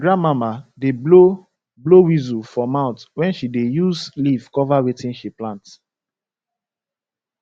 my grandmama da blow blow whisu for mouth when she da use leave cover wetin she plant